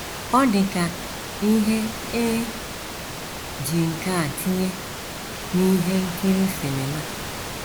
Ọ dị ka ihe e ji nkà tinye n’ihe nkiri sinima.